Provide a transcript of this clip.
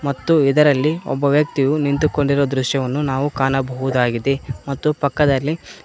ಮತ್ತು ಇದರಲ್ಲಿ ಒಬ್ಬ ವ್ಯಕ್ತಿಯು ನಿಂತುಕೊಂಡಿರುವ ದೃಶ್ಯವನ್ನು ನಾವು ಕಾಣಬಹುದಾಗಿದೆ ಮತ್ತು ಪಕ್ಕದಲ್ಲಿ--